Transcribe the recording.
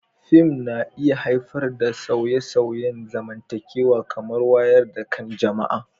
Fim na iya haifar da sauye-sauyen zamantakewa kamar wayar da kan jama'a.